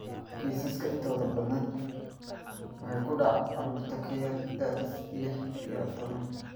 Kiisaska intooda badani waxay ku dhacaan carruurta ka yar da'da lix iyo toban.